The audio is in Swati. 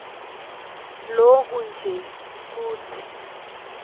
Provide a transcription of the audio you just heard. loku nje kutsi